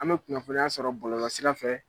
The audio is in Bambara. An bɛ kunnafoniya sɔrɔ bɔlɔlɔ sira fɛ.